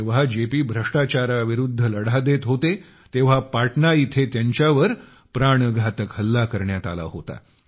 जेव्हा जेपी भ्रष्टाचाराविरुद्ध लढा देत होते तेव्हा पाटणा येथे त्यांच्यावर प्राणघातक हल्ला करण्यात आला होता